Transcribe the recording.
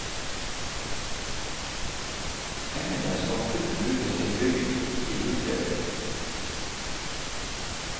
Pengene skal kun brukes til bygging, ikke utredning.